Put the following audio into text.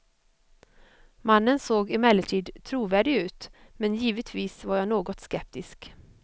Mannen såg emellertid trovärdig ut, men givetvis var jag något skeptisk.